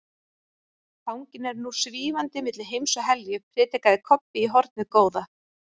Fanginn er nú SVÍFANDI MILLI HEIMS OG HELJU, predikaði Kobbi í hornið góða.